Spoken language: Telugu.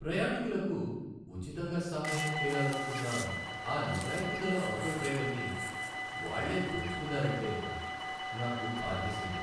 ప్రయాణీకులకు ఉచితంగా సహాయం చేయాలనుకున్న ఆ నిజాయితీగల ఆటో డ్రైవర్ని వాళ్ళే దోచుకున్నారంటే, నాకు బాధేసింది.